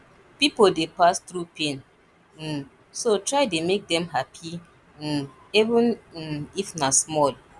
pipo dey pass thru pain um so try dey mek dem hapi um even um if na small